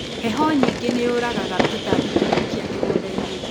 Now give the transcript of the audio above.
Heho nyingĩ nĩyũragaga tũtambi tũthũkia mĩgundainĩ.